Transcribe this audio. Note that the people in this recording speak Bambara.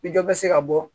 Ni dɔ bɛ se ka bɔ